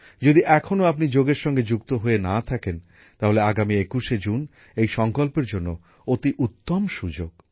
যদি এখনো আপনি যোগের সঙ্গে যুক্ত হয়ে না থাকেন তাহলে আগামী একুশে জুন এই সংকল্পের জন্য অতি উত্তম সুযোগ